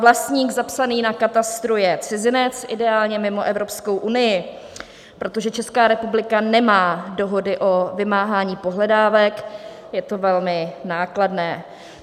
Vlastník zapsaný na katastru je cizinec, ideálně mimo Evropskou unii, protože Česká republika nemá dohody o vymáhání pohledávek, je to velmi nákladné.